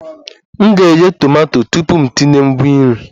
M ga-eghe tomato tupu m etinye ngwa nri